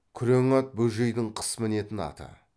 күрең ат бөжейдің қыс мінетін аты